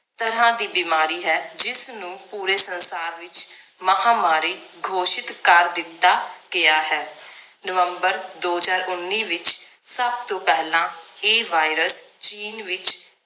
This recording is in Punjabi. ਤਰਾਹ ਦੀ ਬਿਮਾਰੀ ਹੈ ਜਿਸਨੂੰ ਪੂਰੇ ਸੰਸਾਰ ਵਿਚ ਮਹਾਮਾਰੀ ਘੋਸ਼ਿਤ ਕਰ ਦਿੱਤਾ ਗਿਆ ਹੈ ਨਵੰਬਰ ਦੋ ਹਜਾਰ ਉੱਨੀ ਵਿਚ ਸਬਤੋਂ ਪਹਿਲਾਂ ਇਹ virus ਚੀਨ ਵਿਚ